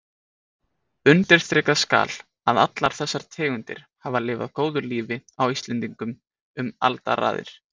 Undirstrikað skal að allar þessar tegundir hafa lifað góðu lífi á Íslendingum um alda raðir.